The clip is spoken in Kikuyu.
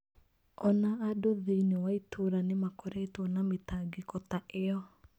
O na andũ thĩinĩ wa itũũra nĩ makoretwo na mĩtangĩko ta ĩyo.